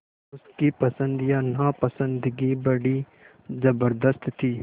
उसकी पसंद या नापसंदगी बड़ी ज़बरदस्त थी